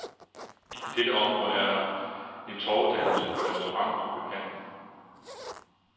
I dette område er der en torvedannelse med restaurant og beplantning.